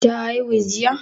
Ta aihu jiya?